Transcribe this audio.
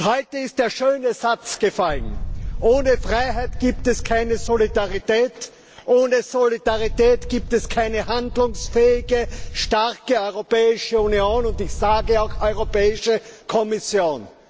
Heute ist der schöne Satz gefallen Ohne Freiheit gibt es keine Solidarität, ohne Solidarität gibt es keine handlungsfähige, starke Europäische Union ich sage auch keine starke Europäische Kommission.